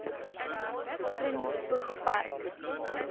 groen spoeg park